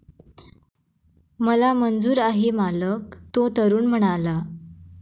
मला मंजूर आहे, मालक, तो तरुण म्हणाला.